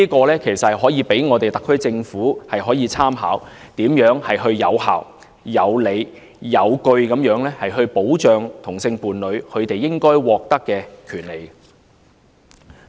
這可以供特區政府參考，探討如何有效、有理、有據地保障同性伴侶應該獲得的權利。